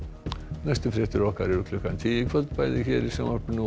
næstu fréttir okkar eru klukkan tíu í kvöld bæði hér í sjónvarpinu og